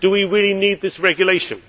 Do we really need this regulation?